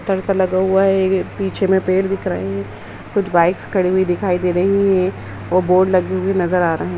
पत्थर सा लगा हुआ है। पीछे में पेड़ दिख रहे है। कुछ बाइक्स खड़ी हुई दिखाई दे रही हैं। वो बोर्ड लगे हुए नजर आ रहे है।